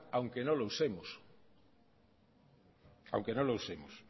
aunque no lo usemos